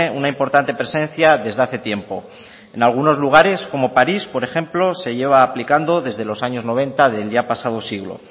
una importante presencia desde hace tiempo en algunos lugares como parís por ejemplo se lleva aplicando desde los años noventa del ya pasado siglo